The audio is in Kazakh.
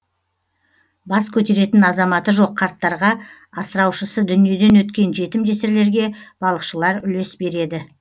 бас көтеретін азаматы жоқ қарттарға асыраушысы дүниеден өткен жетім жесірлерге балықшылар үлес береді